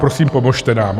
Prosím, pomozte nám.